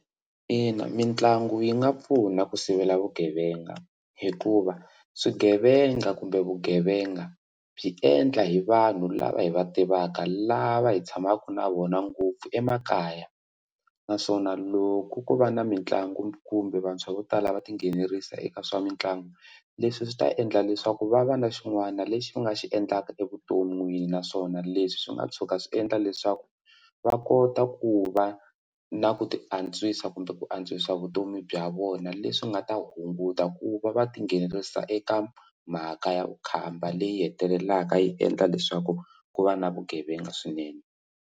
Ina, mitlangu yi nga pfuna ku sivela vugevenga hikuva swigevenga kumbe vugevenga byi endla hi vanhu lava hi va tivaka lava hi tshamaka na vona ngopfu emakaya naswona loko ku va na mitlangu kumbe vantshwa vo tala va tinghenelerisa eka swa mitlangu leswi swi ta endla leswaku va va na xin'wana lexi ni nga xi endlaka evuton'wini naswona leswi swi nga tshuka swi endla leswaku va kota ku va na ku ti antswisa kumbe ku antswisa vutomi bya vona leswi nga ta hunguta ku va va tinghenelerisa eka mhaka ya vukhamba leyi hetelelaka yi endla leswaku ku va na vugevenga swinene.